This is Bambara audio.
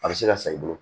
A bɛ se ka san i bolo